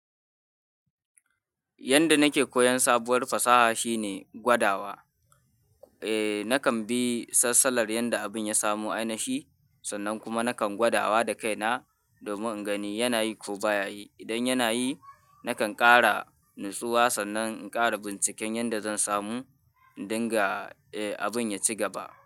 Yanda nake koyon sabuwar fasaha shine gwadawa. Eh, nakan bi sassalar yanda abin ya samu ainihi sannan kuma nakan gwadawa da kaina domin in gani yanayi ko ba ya yi. Idan yana yi, nakan ƙara natsuwa sannan in ƙara binciken yanda zan samu in dinga, eh, abin ya ci gaba.